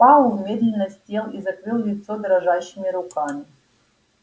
пауэлл медленно сел и закрыл лицо дрожащими руками